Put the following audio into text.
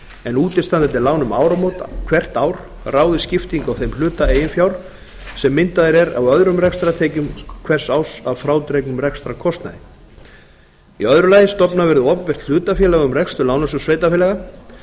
en útistandandi lán um áramót hvert ár ráði skiptingu á þeim hluta eigin fjár sem myndaður er af öðrum rekstrartekjum hvers árs að frádregnum rekstrarkostnaði annars stofnað verði opinbert hlutafélag um rekstur lánasjóðs sveitarfélaga